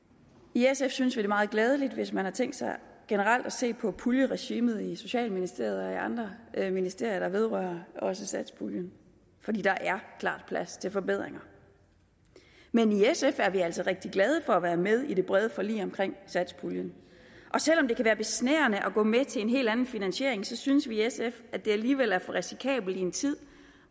i sf synes vi det er meget glædeligt hvis man har tænkt sig generelt at se på puljeregimet i socialministeriet og i andre ministerier der vedrører også satspuljen for der er klart plads til forbedringer men i sf er vi altså rigtig glade for at være med i det brede forlig om satspuljen og selv om det kan være besnærende at gå med til en helt anden finansiering synes vi i sf at det alligevel er for risikabelt i en tid